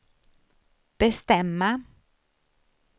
bestämma